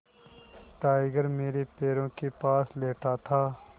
tiger मेरे पैरों के पास लेटा था